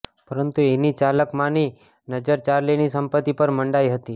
પરંતુ એની ચાલાક માની નજર ચાર્લીની સંપત્તિ પર મંડાઈ હતી